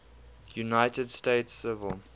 united states civil